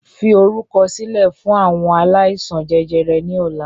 Fi orúkọ sílẹ̀ fún àwọn aláìsàn jẹjẹrẹ ni ọ̀la!